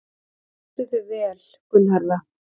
Þú stendur þig vel, Gunnharða!